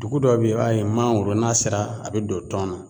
Dugu dɔw be ye i b'a ye mangoro n'a sera a be don tɔn na